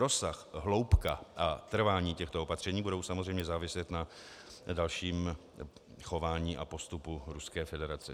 Rozsah, hloubka a trvání těchto opatření budou samozřejmě záviset na dalším chování a postupu Ruské federace.